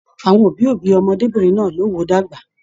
Àwọn òbí òbí ọmọdébinrin náà ló wò dàgbà.